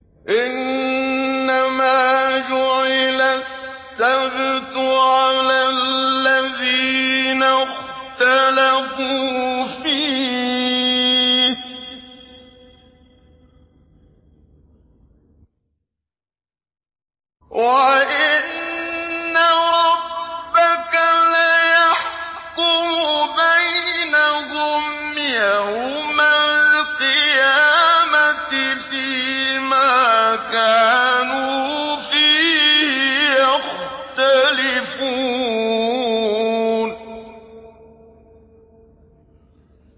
إِنَّمَا جُعِلَ السَّبْتُ عَلَى الَّذِينَ اخْتَلَفُوا فِيهِ ۚ وَإِنَّ رَبَّكَ لَيَحْكُمُ بَيْنَهُمْ يَوْمَ الْقِيَامَةِ فِيمَا كَانُوا فِيهِ يَخْتَلِفُونَ